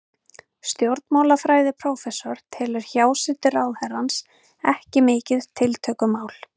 Stjórnmálafræðiprófessor telur hjásetu ráðherrans ekki mikið tiltökumál.